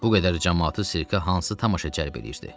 Bu qədər camaatı sirkə hansı tamaşa cəlb eləyirdi?